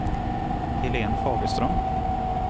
Helen Fagerström